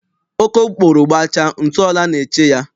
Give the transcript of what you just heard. Okokporo gbachaa, ntụ ọla na-eche ya.